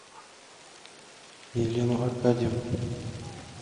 елену аркадьевну